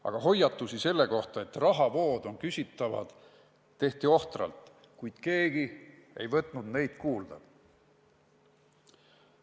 Aga hoiatusi selle kohta, et rahavood on küsitavad, tehti ohtralt, kuid keegi ei võtnud neid kuulda.